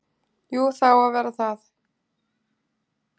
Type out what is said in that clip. Jú, það á að vera það.